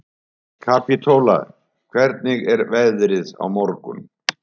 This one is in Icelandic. Kapítóla, hvernig er veðrið á morgun?